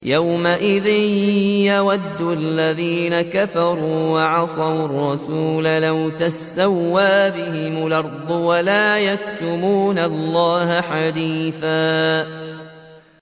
يَوْمَئِذٍ يَوَدُّ الَّذِينَ كَفَرُوا وَعَصَوُا الرَّسُولَ لَوْ تُسَوَّىٰ بِهِمُ الْأَرْضُ وَلَا يَكْتُمُونَ اللَّهَ حَدِيثًا